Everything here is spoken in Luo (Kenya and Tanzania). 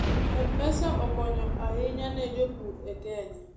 m-pesa okonyo ahinya ne jopur e kenya